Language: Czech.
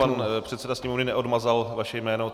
Pan předseda Sněmovny neodmazal vaše jméno.